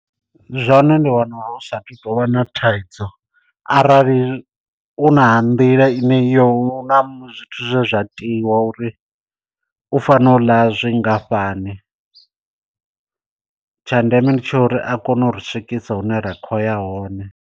Zwone ndi wana hu sathu tou vha na thaidzo arali u na nḓila ine iyo u na zwithu zwe zwa tiwa uri u fanela u ḽa zwingafhani, tsha ndeme ndi tsha uri a kone u ri swikisa hune ra kho ya hone.